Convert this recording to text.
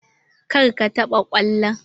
Kar ka taɓa kwallon!